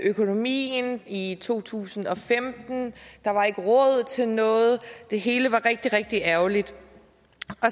økonomien i to tusind og femten der var ikke råd til noget det hele var rigtig rigtig ærgerligt